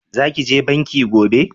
Za ki je banki gobe?